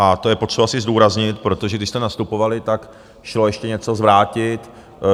A to je potřeba si zdůraznit, protože když jste nastupovali, tak šlo ještě něco zvrátit.